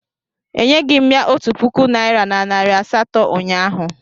Enyeghị m ya otu puku naịra na nari asatọ ụnyahụ